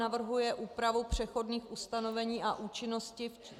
Navrhuje úpravu přechodných ustanovení a účinnosti.